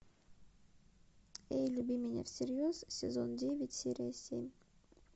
эй люби меня всерьез сезон девять серия семь